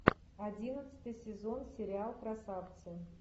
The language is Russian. одиннадцатый сезон сериал красавцы